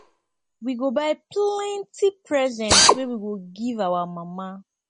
we go buy plenty present wey we go give our mama